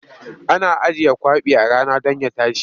Ana ajiye kwaɓi a rana don ya tashi.